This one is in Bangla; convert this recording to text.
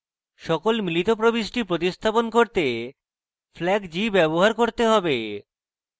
সকল মিলিত প্রবিষ্টি প্রতিস্থাপন করতে flag g ব্যবহার করতে হবে